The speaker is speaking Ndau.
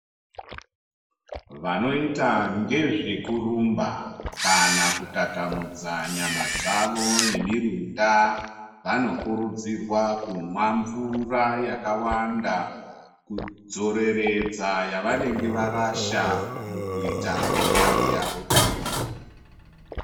Vanoita ngezvekurumba kana kutatamudza nyama dzavo nemirunda. Vanokurudzirwa kumwa mvura yakawanda kudzoreredza yavanenge varasha mukuita mitambo yavo iyi.